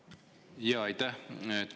Jaa, aitäh!